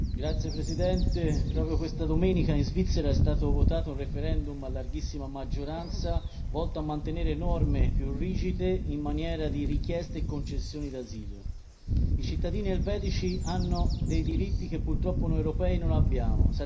Signor Presidente, onorevoli colleghi, proprio questa domenica in Svizzera è stato votato un referendum a larghissima maggioranza volto a mantenere norme più rigide in maniera di richieste e concessione d'asilo. I cittadini elvetici hanno dei diritti che purtroppo noi europei non abbiamo.